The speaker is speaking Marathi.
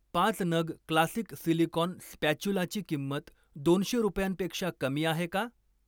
पाच नग क्लासिक सिलिकॉन स्पॅच्युलाची किंमत दोनशे रुपयांपेक्षा कमी आहे का?